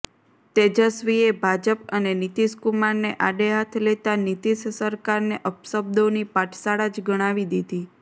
તેજસ્વીએ ભાજપ અને નીતિશ કુમારને આડેહાથ લેતા નીતિશ સરકારને અપશબ્દોની પાઠશાળા જ ગણાવી દીધી